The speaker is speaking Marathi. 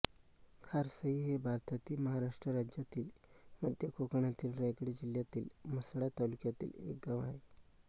खारसई हे भारतातील महाराष्ट्र राज्यातील मध्य कोकणातील रायगड जिल्ह्यातील म्हसळा तालुक्यातील एक गाव आहे